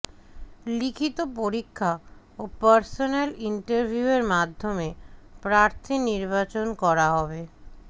লিখিত পরীক্ষা ও পার্সোন্যাল ইন্টারভিউয়ের মাধ্যমে প্রার্থী নির্বাচন করা হবে